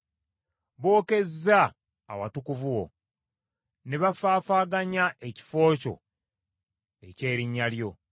Bookezza awatukuvu wo; ne bafaafaaganya ekifo kyo eky’Erinnya lyo.